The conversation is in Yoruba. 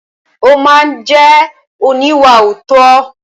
Ó ma jẹ́ oníwàòótọ́.